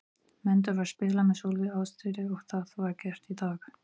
Menn þurfa að spila með svolítilli ástríðu og það var gert í dag.